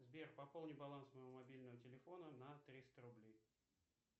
сбер пополни баланс моего мобильного телефона на триста рублей